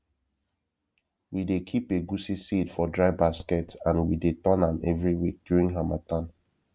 we dey keep egusi seed for dry basket and we dey turn am every week during harmattan